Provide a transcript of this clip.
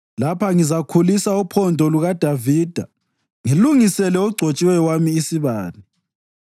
Lapha ngizakhulisa uphondo lukaDavida ngilungisele ogcotshiweyo wami isibane.